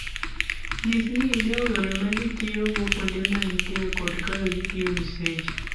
Nyis ni idewo yore ma ji tiyogo kuonde ma intie kod kaka gitiyo gi seche.